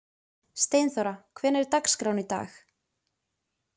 Steinþóra, hvernig er dagskráin í dag?